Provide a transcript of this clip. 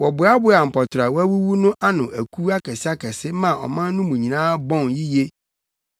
Wɔboaboaa mpɔtorɔ a wɔawuwu no ano akuw akɛseakɛse maa ɔman no mu bɔn yiye.